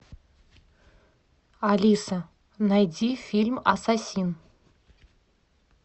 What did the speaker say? алиса найди фильм асасин